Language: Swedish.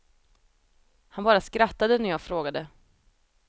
Han bara skrattade när jag frågade.